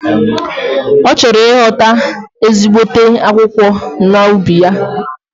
Ochoro ighota ezigbote akwukwo na ubi ya.